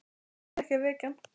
Ég ætti alls ekki að vekja hann.